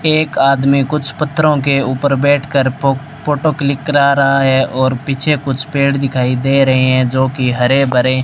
एक आदमी कुछ पथ्थरों के ऊपर बैठकर फ फोटो क्लिक करा रहा है और पीछे कुछ पेड़ दिखाई दे रहे है जो कि हरे भरे --